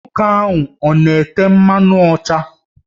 Nwoke ahụ ọ na-ete mmanụ ụcha?